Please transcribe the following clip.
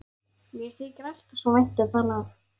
Mér þykir alltaf svo vænt um það lag.